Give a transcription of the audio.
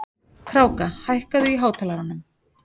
Kráka, hækkaðu í hátalaranum.